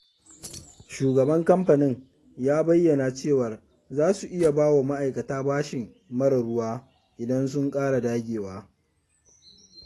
Shugaban kamfanin ya bayyana cewar za su iya bawa ma'aikata bashi marar ruwa, idan sun ƙara dagewa.